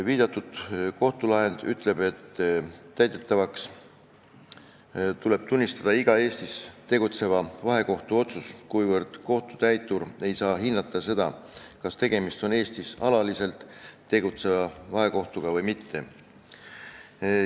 See kohtulahend ütleb, et täidetavaks tuleb tunnistada iga Eestis tegutseva vahekohtu otsus, kuna kohtutäitur ei saa hinnata seda, kas tegemist on Eestis alaliselt tegutseva vahekohtuga või mitte.